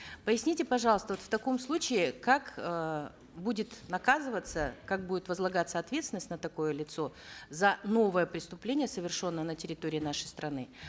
поясните пожалуйста вот в таком случае как э будет наказываться как будет возлагаться ответственность на такое лицо за новое преступление совершенное на территории нашей страны